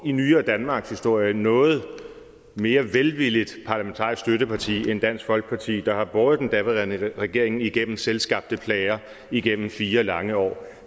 i nyere danmarkshistorie noget mere velvilligt parlamentarisk støtteparti end dansk folkeparti der har båret den daværende regering igennem selvskabte plager igennem fire lange år